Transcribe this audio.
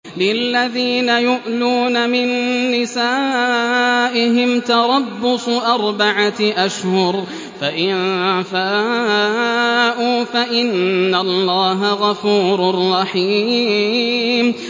لِّلَّذِينَ يُؤْلُونَ مِن نِّسَائِهِمْ تَرَبُّصُ أَرْبَعَةِ أَشْهُرٍ ۖ فَإِن فَاءُوا فَإِنَّ اللَّهَ غَفُورٌ رَّحِيمٌ